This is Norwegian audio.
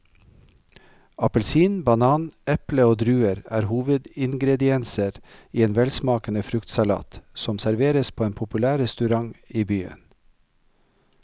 Appelsin, banan, eple og druer er hovedingredienser i en velsmakende fruktsalat som serveres på en populær restaurant i byen.